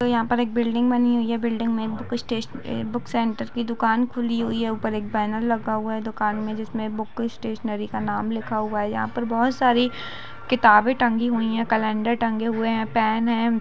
यहां पर एक बिल्डिंग बनी हुई है बिल्डिंग में कुछ सत्स-बूक सेंटर की दुकान खुली हुई हैं ऊपर एक बेनर लगा हुआ है दुकान में जिसमे में बुक स्तेंशनरी का नाम लिखा हुआ है यहां पर बहुत सारी किताबे टंगी हुई है कलन्दर टंगे हुए है पेन है।